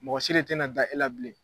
Mɔgɔ si de tɛna da e la bilen